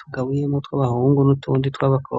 tugabuyemo utw'abahungu n'utundi tw'abakobwa.